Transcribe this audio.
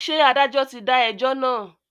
Ṣé adájọ́ ti dá ẹjọ́ náà?